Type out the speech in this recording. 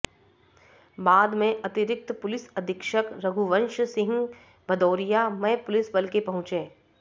बाद में अतिरिक्त पुलिस अधीक्षक रघुवंश सिंह भदौरिया मय पुलिस बल के पहुंचे